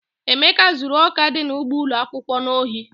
Emeka zuru ọka dị n'ugbo ụlọ akwụkwọ n'ohi.